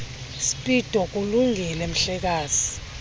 speedo kulungile mhlekazi